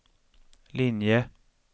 linje